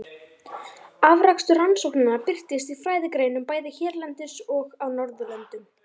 Afrakstur rannsóknanna birtist í fræðigreinum bæði hérlendis og á Norðurlöndunum.